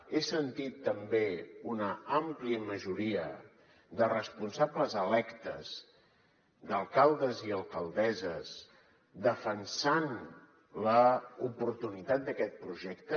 he sentit també una àmplia majoria de responsables electes d’alcaldes i alcaldesses defensant l’oportunitat d’aquest projecte